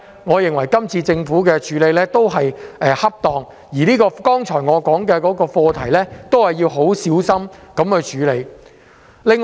我認為政府這樣做是恰當的，而我剛才提到的課題亦要小心處理。